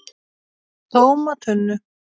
TÓMA TUNNU!